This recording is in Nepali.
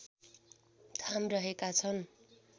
थाम रहेका छन्